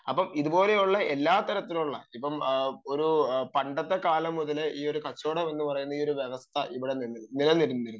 അപ്പം ഇതുപോലെയുള്ള എല്ലാ തരത്തിലുമുള്ള പണ്ടത്തെ കാലം മുതലേ ഈ ഒരു കച്ചവടം എന്ന് പറയുന്ന ഒരു വ്യവസ്ഥ ഇവിടെ നിലനിന്നിരുന്നു